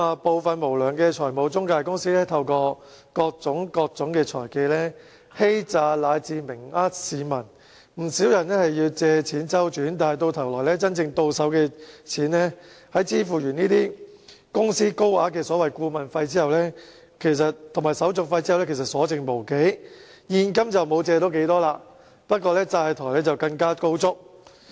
部分無良的財務中介公司透過各種財技，欺詐以至明目張膽欺騙市民，不少人需要借錢周轉，但到頭來真正到手的錢在支付公司高額的顧問費和手續費後，其實所剩無幾，現金借不到多少，反而更債台高築。